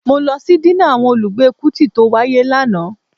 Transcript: Mó lọ sí dínà àwọn olùgbé Kútì tó wáyé lánàá